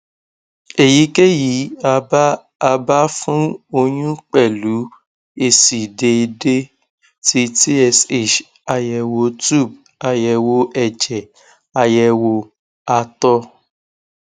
eyikeyi aba aba fun oyun pẹlu esi deede ti tsh ayewo tube ayewo ẹjẹ ayewo àtọ